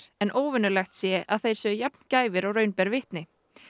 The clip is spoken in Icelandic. en óvenjulegt sé að þeir séu jafn gæfir og raun ber vitni